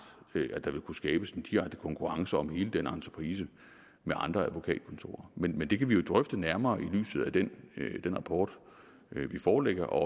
at der vil kunne skabes en direkte konkurrence om hele den entreprise med andre advokatkontorer men det kan vi jo drøfte nærmere i lyset af den rapport vi forelægger og